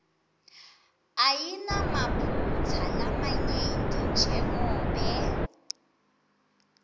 ayinamaphutsa lamanyenti njengobe